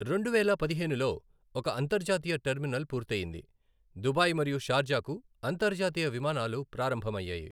రెండువేల పదిహేనులో ఒక అంతర్జాతీయ టెర్మినల్ పూర్తయింది, దుబాయ్ మరియు షార్జాకు అంతర్జాతీయ విమానాలు ప్రారంభమయ్యాయి.